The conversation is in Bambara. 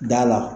Da la